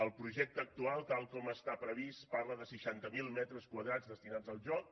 el projecte actual tal com està previst parla de seixanta mil metres quadrats destinats al joc